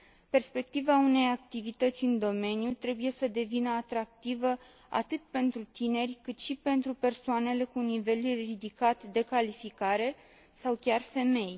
Perspectiva unei activități în domeniu trebuie să devină atractivă atât pentru tineri, cât și pentru persoanele cu nivel ridicat de calificare sau pentru femei.